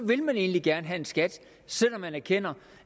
vil man egentlig gerne have en skat selv om man erkender